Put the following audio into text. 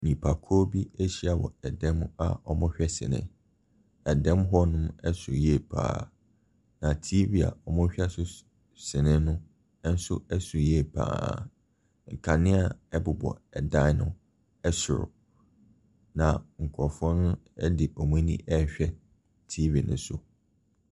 Nipakuo bi ahyia wɔ ɛdan mu a wɔrehwɛ sini. Ɛdan mu hɔnom so yie pa ara. Na TV a wɔrehwɛ so sini no nso so yie pa ara. Nkanea bobɔ dan no soro, na nkurɔfoɔ no de wɔn ani rehwɛ TV no so.